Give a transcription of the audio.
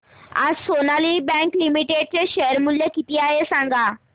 आज Sonali bank limited चे share मूल्य किती आहे सांगा